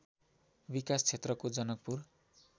विकास क्षेत्रको जनकपुर